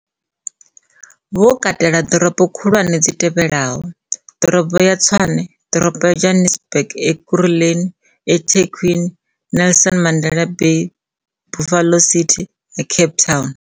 Vhu katela ḓorobo khulwane dzi tevhelaho, Ḓorobo ya Tshwane Ḓorobo ya Johannesburg Ekurhuleni eThekwini Nelson Mandela Bay Buffalo City na Cape Town.